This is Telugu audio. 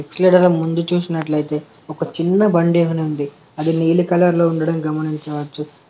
ఈడనే ముందు చూసినట్లయితే ఒక చిన్న బండి ఉంది అది నీలి కలర్లో ఉండడం గమనించవచ్చు.